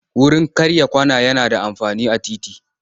Wurin karya kwana yana da amfani a titi.